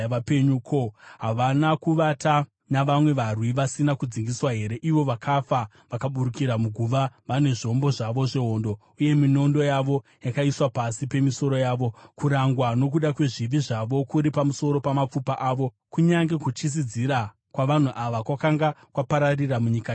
Ko, havana kuvata navamwe varwi vasina kudzingiswa here, ivo vakafa, vakaburukira muguva vane zvombo zvavo zvehondo, uye minondo yavo yakaiswa pasi pemisoro yavo? Kurangwa nokuda kwezvivi zvavo kuri pamusoro pamapfupa avo, kunyange kutyisidzira kwavanhu ava kwakanga kwapararira munyika yavapenyu.